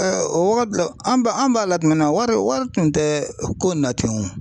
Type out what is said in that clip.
o wagati la an ba an b'a la tuma min na wari tun tɛ ko in na ten o.